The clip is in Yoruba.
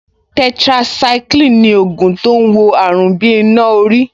Tetracycline ni ògùn tó ń wo àrùn bí iná orí